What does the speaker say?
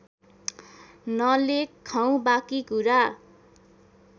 नलेखौँ बाँकी कुरा